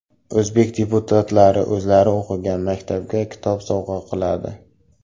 O‘zbek deputatlari o‘zlari o‘qigan maktabga kitob sovg‘a qiladi.